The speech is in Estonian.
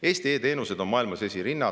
Eesti e-teenused on maailmas esirinnas.